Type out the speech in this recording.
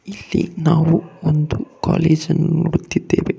ಇಲ್ಲಿ ನಾವು ಒಂದು ಕಾಲೇಜ್ ಅನ್ನು ನೋಡುತ್ತಿದ್ದೇವೆ ಕಾಲ್--